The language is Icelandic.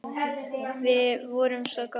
Við vorum svo góðir vinir.